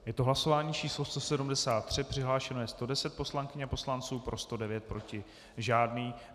Je to hlasování číslo 173, přihlášeno je 110 poslankyň a poslanců, pro 109, proti žádný.